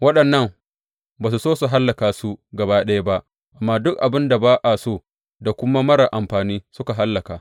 Waɗannan ba su so su hallaka su gaba ɗaya ba, amma duk abin da ba a so da kuma marar amfani suka hallaka.